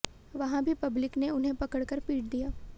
वहां भी पब्लिक ने उन्हें पकड़ कर पीट दिया